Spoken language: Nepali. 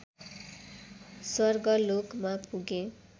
स्वर्गलोकमा पुगे